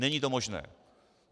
Není to možné.